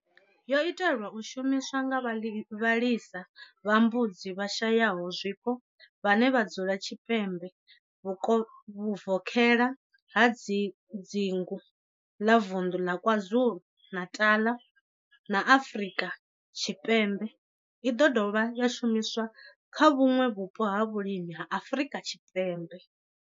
Yo itelwa u shumiswa nga vhalisa vha mbudzi vhashayaho zwiko vhane vha dzula tshipembe vhuvokhela ha dzingu ḽa vunḓu ḽa KwaZulu-Natal, Afrika Tshipembe i ḓo dovha ya shumiswa kha vhuṋwe vhupo ha vhulimi ha Afrika Tshipembe.